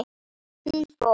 Hún fór.